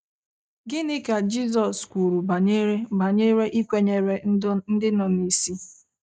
Gịnị ka Jizọs kwuru banyere banyere ịkwenyere ndị nọ n’isi?